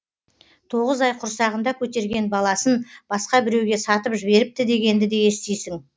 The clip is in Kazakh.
тоғыз ай құрсағында көтерген баласын басқа біреуге сатып жіберіпті дегенді де естисің